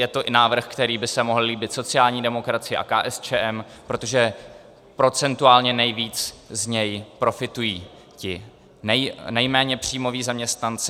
Je to i návrh, který by se mohl líbit sociální demokracii a KSČM, protože procentuálně nejvíc z něj profitují ti nejméně příjmoví zaměstnanci.